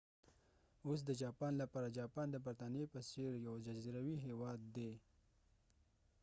اوس د جاپان لپاره جاپان د برطانیې په څیر یو جزیروي هیواد دي